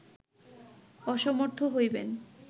অসমর্থ হইবেন